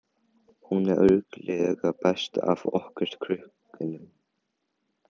Hún er örugglega best af okkur krökkunum.